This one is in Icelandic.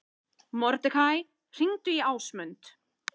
Mordekaí, hringdu í Ásmund.